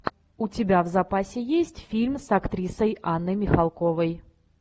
у тебя в запасе есть фильм с актрисой анной михалковой